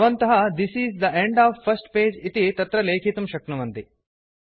भवन्तः this is the end of first page इति तत्र लेखितुं शक्नुवन्ति